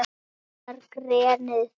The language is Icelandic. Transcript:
Klefinn er grenið.